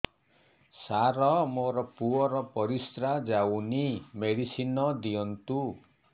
ସାର ମୋର ପୁଅର ପରିସ୍ରା ଯାଉନି ମେଡିସିନ ଦିଅନ୍ତୁ